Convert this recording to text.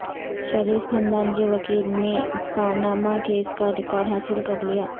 شریف خاندان کے وکیل نے پاناما کیس کا ریکارڈ حاصل کر لیا